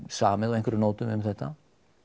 samið á einhverjum nótum um þetta